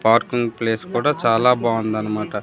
Parking place కూడా చాలా బాగుందన్న మాట.